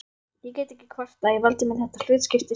Ég get ekki kvartað, ég valdi mér þetta hlutskipti sjálfur